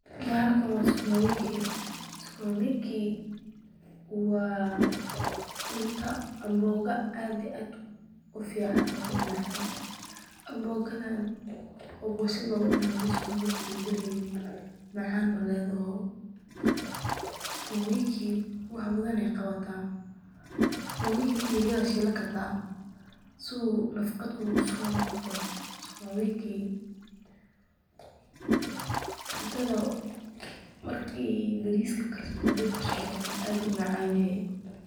Bahalkan waa sukuma wiki, waa cunto aad iyo aad ufican oo umacaan, hadii cuntada lagu darin ma macaneneso, nafaqada ayuu soo celiya, bariska ayaa lajor saarta.